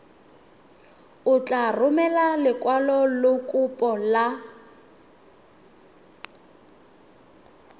o tla romela lekwalokopo la